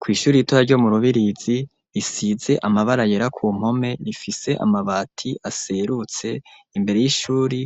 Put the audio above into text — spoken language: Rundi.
Kw'ishuri ritoya ryo mu rubirizi, risize amabara yera ku mpome rifise amabati aserutse, imbere y'ishuri